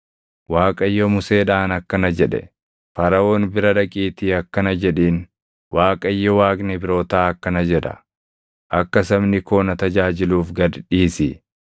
Waaqayyo Museedhaan akkana jedhe; “Faraʼoon bira dhaqiitii akkana jedhiin; ‘ Waaqayyo Waaqni Ibrootaa akkana jedha; “Akka sabni koo na tajaajiluuf gad dhiisi.”